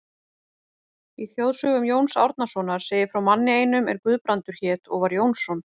Í þjóðsögum Jóns Árnasonar segir frá manni einum er Guðbrandur hét og var Jónsson.